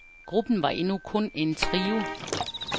Gruppen var endnu kun en trio.